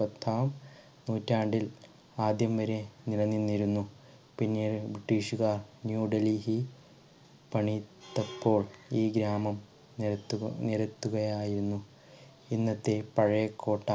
പത്താം നൂറ്റാണ്ടിൽ ആദ്യം വരെ നിലനിന്നിരുന്നു പിന്നീട് ബ്രിട്ടീഷ്‌കാർ ന്യൂഡൽഹി പണി തപ്പോൾ ഈ ഗ്രാമം നിരത്തുക നിരത്തുകയായിരുന്നു ഇന്നത്തെ പഴയ കോട്ട.